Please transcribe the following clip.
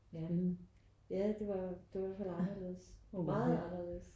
Ja ja det var i hvert fald anderledes meget anderledes